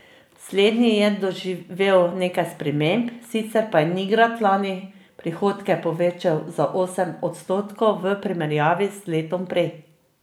Slednji je doživel nekaj sprememb, sicer pa je Nigrad lani prihodke povečal za osem odstotkov v primerjavi z letom prej.